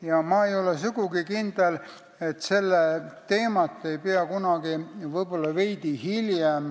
Ja ma ei ole sugugi kindel, et selle teema piires ei peaks kunagi, võib-olla veidi hiljem,